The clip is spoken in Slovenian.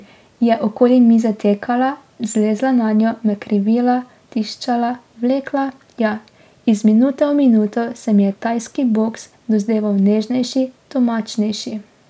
Je okoli mize tekala, zlezla nanjo, me krivila, tiščala, vlekla, ja, iz minute v minuto se mi je tajski boks dozdeval nežnejši, domačnejši.